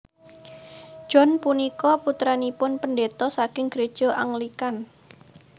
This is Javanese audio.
John punika putranipun pendeta saking gereja Anglikan